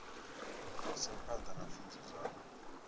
isa phanḓa na pfunzo dzavho